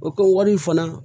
O ka wari fana